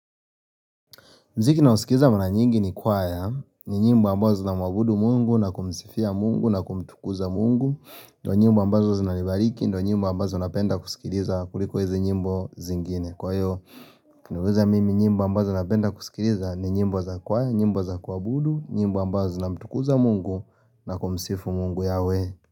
Muziki ninaosikiza mara nyingi ni kwaya, ni nyimbo ambazo zinamwabudu mungu, na kumsifia mungu, na kumtukuza mungu ndio nyimbo ambazo zinanibariki, ndio nyimbo ambazo napenda kusikiliza kuliko hizi nyimbo zingine kwa hiyo, ukiniuliza mimi nyimbo ambazo napenda kusikiliza ni nyimbo za kwaya, nyimbo za kuabudu, nyimbo ambazo zinamtukuza mungu, na kumsifu mungu yahweh.